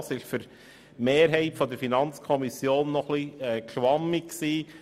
Auch dieser Begriff war für die Mehrheit der FiKo-Mitglieder zu schwammig.